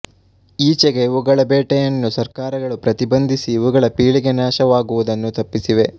ಈಚೆಗೆ ಇವುಗಳ ಬೇಟೆಯನ್ನು ಸರ್ಕಾರಗಳು ಪ್ರತಿಬಂಧಿಸಿ ಇವುಗಳ ಪೀಳಿಗೆ ನಾಶವಾಗುವುದನ್ನು ತಪ್ಪಿಸಿವೆ